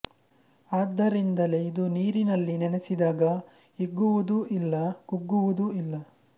ಆದ್ದರಿಂದಲೇ ಇದು ನೀರಿನಲ್ಲಿ ನೆನೆಸಿದಾಗ ಹಿಗ್ಗುವುದೂ ಇಲ್ಲ ಕುಗ್ಗುವುದೂ ಇಲ್ಲ